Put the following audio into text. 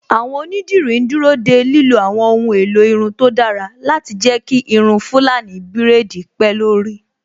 Àwọn Onídìrí ń dúró de lílo àwọn ohun èlò irun tó dára láti jẹ́ kí irun Fulani braids pé lórí